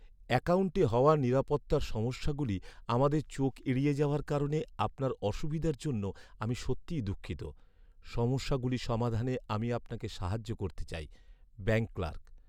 অ্যাকাউন্টে হওয়া নিরাপত্তার সমস্যাগুলি আমাদের চোখ এড়িয়ে যাওয়ার কারণে আপনার অসুবিধার জন্য আমি সত্যিই দুঃখিত। সমস্যাগুলি সমাধানে আমি আপনাকে সাহায্য করতে চাই। Bank clerk